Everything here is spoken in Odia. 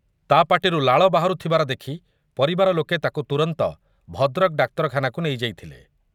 ତା'ପାଟିରୁ ଲାଳ ବାହାରୁଥିବା ଦେଖ୍ ପରିବାର ଲୋକ ତାକୁ ତୁରନ୍ତ ଭଦ୍ରକ ଡାକ୍ତରଖାନାକୁ ନେଇଯାଇଥିଲେ ।